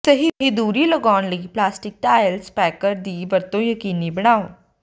ਸਹੀ ਦੂਰੀ ਲਗਾਉਣ ਲਈ ਪਲਾਸਟਿਕ ਟਾਇਲ ਸਪੈਕਰ ਦੀ ਵਰਤੋਂ ਯਕੀਨੀ ਬਣਾਓ